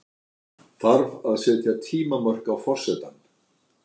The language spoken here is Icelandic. Þarf að setja tímamörk á forsetann?